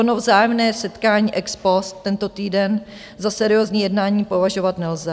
Ono vzájemné setkání ex post tento týden za seriózní jednání považovat nelze.